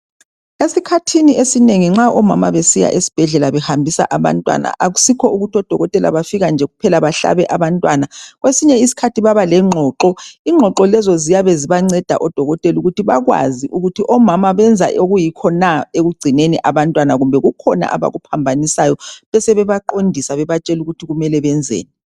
Esikhathini esinengi nxa omama besiya esibhedlela behambisa abantwana akusikho ukuthi odokotela bafika nje kuphela bahlabe abantwana kwesinye isikhathi baba lengxoxo, ingxoxo lezo ziyabe zibanceda odokotela ukuthi bakwazi ukuthi omama benza okuyikho na ekugcineni abantwana kumbe kukhona abakuphambanisayo besebe baqondisa bebatshela ukuthi kumele benzeni.